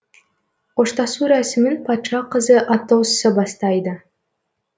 қоштасу рәсімін патша қызы атосса бастайды